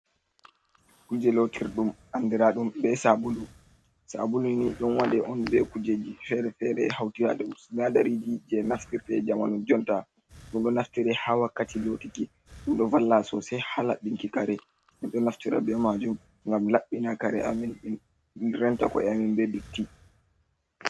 Kuuje lootirɗum andiraɗum bee Saabulu, Saabulu ni ɗon waɗe on bee kuujeeji fere fere e hawtirado sinadariiji je naftirte jamanu jonta, ɗum ɗo naftira haa wakkati lootiki, ɗum ɗo valla soosay haa laɓɓinki kare, ɗum ɗo naftira bee maajum ngam laɓɓina kare amin renta ko'e amin bee dotti.